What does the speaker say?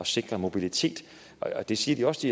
sikre mobilitet det siger de også